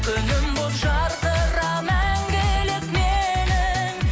күнім болып жарқыра мәңгілік менің